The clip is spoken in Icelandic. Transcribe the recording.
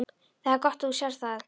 Það er gott að þú sérð það.